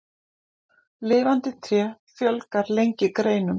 Lifandi tré fjölgar lengi greinum.